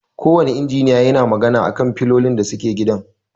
Ko wanne injiniya yana magana a kan filolin da suke gidan.